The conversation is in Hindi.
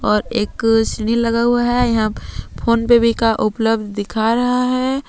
और एक सीढ़ी लगा हुआ है यहां फोन पे भी का उपलब्ध दिखा रहा है।